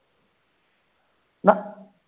ਨਾ